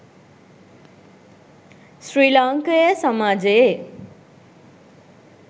ශ්‍රී ලාංකේය සමාජයේ